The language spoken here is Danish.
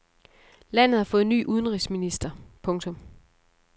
Landet har fået ny udenrigsminister. punktum